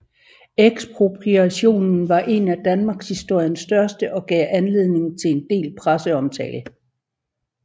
Ekspropriationen var en af danmarkshistoriens største og gav anledning til en del presseomtale